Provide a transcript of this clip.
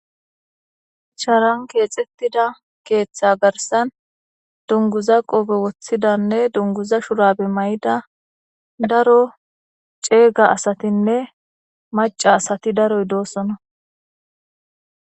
charan keexettida keeththa garsan dunguza qobe woththidanne dunguza shurabe may7ida daro ceega asatinne maca asati daroy doosona